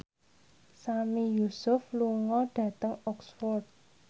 Sami Yusuf lunga dhateng Oxford